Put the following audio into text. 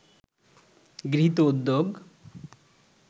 গৃহীত উদ্যোগ